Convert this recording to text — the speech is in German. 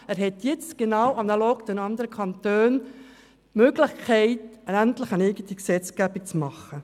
Er hat jetzt genau analog der anderen Kantone die Möglichkeit, endlich eine eigene Gesetzgebung zu machen.